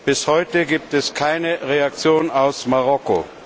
Bis heute gibt es keine Reaktion aus Marokko.